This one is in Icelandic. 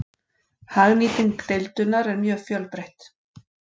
Hagnýting deildunar er mjög fjölbreytt.